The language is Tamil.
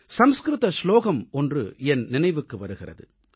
சம்ஸ்க்ருத ஸ்லோகம் ஒன்று என் நினைவுக்கு வருகிறது